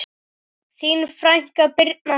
Þín frænka, Birna Sif.